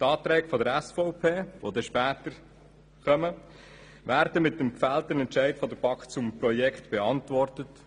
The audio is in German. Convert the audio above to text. Die Anträge der SVP, welche später anstehen, werden mit dem gefällten Entscheid der BaK zum Projekt beantwortet.